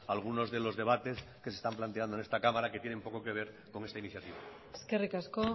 algunos de los debates que se están planteando en esta cámara que tienen poco que ver con esta iniciativa eskerrik asko